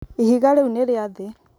ihiga rĩu nĩ rĩa thĩ